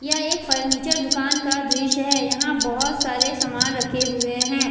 यह एक फर्नीचर दुकान का दृश्य है यहां बहुत सारे सामान रखे हुए हैं।